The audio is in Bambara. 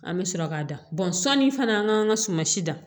An bɛ sɔrɔ ka da bɔn sɔnni fana an k'an ka suma si dan